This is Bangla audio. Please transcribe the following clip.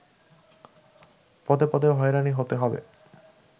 পদে পদে হয়রানি হতে হবে